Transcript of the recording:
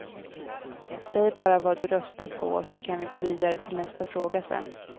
Säg bara vad du röstar på så kan vi gå vidare till nästa fråga sen.